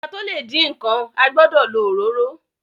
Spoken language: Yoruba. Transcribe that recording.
Ki a to le din nkán, a gbọdọ lo òróró.